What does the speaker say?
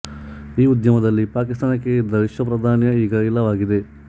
ಈ ಉದ್ಯಮದಲ್ಲಿ ಪಾಕಿಸ್ತಾನಕ್ಕೆ ಇದ್ದ ವಿಶ್ವ ಪ್ರಾಧಾನ್ಯ ಈಗ ಇಲ್ಲವಾಗಿದೆ